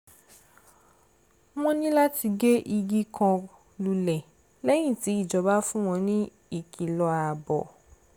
wọ́n ní láti gé igi kan lulẹ̀ lẹ́yìn tí ìjọba fún wọn ní ìkìlọ̀ ààbò